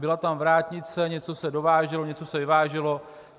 Byla tam vrátnice, něco se dováželo, něco se vyváželo.